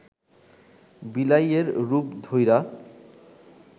বিলাইয়ের রূপ ধইরা